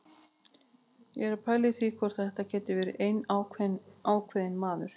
Ég er að pæla í því hvort þetta geti verið einn ákveðinn maður.